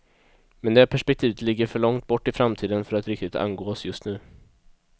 Men det perspektivet ligger för långt bort i framtiden, för att riktigt angå oss just nu.